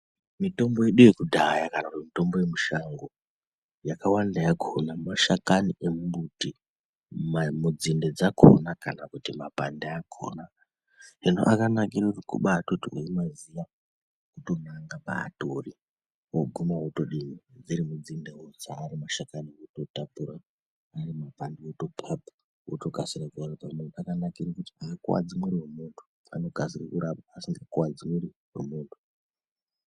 Mitombo yedu yekudhaya kana kuti mitombo yemushango yakawanda yakhona mashakani emimbuti, nzinde dzakhona kana kuti mapande akhona ende akanakira kuti kubaitoti weimaziya wotonanga paatori woguma wotodini dziri nzinde wodzana ari mashakani wotapura, ari mapande wotophapha wotokasire akanakira kuti aakuwadzi munthu anokasira kurapa asikakuwadzi mwiri wemunthu.